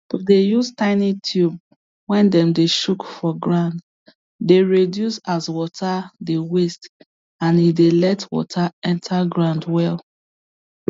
to dey use tiny tube wey dem dey chook for ground dey reduce as water dey waste and e dey let water enter ground well